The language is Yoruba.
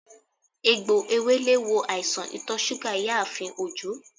Egbò Ewèlè wo àìsàn ìtò súgà ìyáààfin Òjó